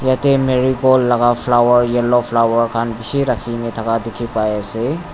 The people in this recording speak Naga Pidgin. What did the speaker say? yatae marigold laka flower yellow flower khan bishi rakhikene thaka dikhipaiase.